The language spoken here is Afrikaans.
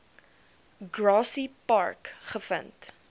grassy park gevind